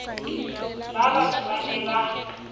ba batsho ba ne ba